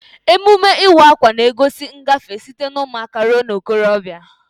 Emume Ịwa akwa na-egosi ngafe site na ụmụaka ruo na okorobia.